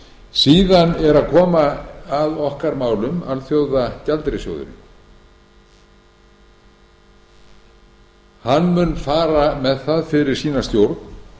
síðan er að koma að okkar málum alþjóðagjaldeyrissjóðurinn hann mun fara með það fyrir sína stjórn